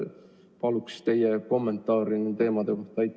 Palun teie kommentaari nende teemade kohta.